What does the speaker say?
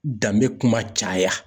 Danbe kuma caya.